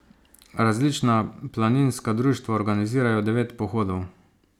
Različna planinska društva organizirajo devet pohodov.